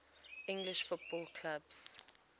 english football clubs